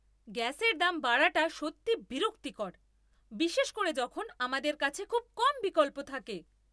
গ্যাসের দাম বাড়াটা সত্যিই বিরক্তিকর, বিশেষ করে যখন আমাদের কাছে খুব কম বিকল্প থাকে।